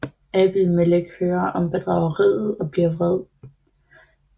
Abimelek hører om bedrageriet og bliver vred